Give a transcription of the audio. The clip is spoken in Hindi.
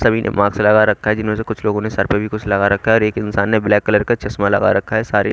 सभी ने मास्क लगा रखा है जिनमें से कुछ लोगों ने सर पे भी कुछ लगा रखा है और एक इंसान ने ब्लैक कलर का चश्मा लगा रखा है सारे--